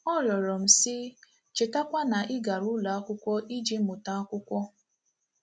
Ọ rịọrọ m, sị: “ Chetakwa na ị gara ụlọ akwụkwọ iji mụta akwụkwọ.